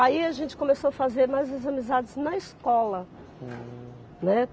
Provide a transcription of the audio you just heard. Aí a gente começou a fazer mais as amizades na escola. Hum, né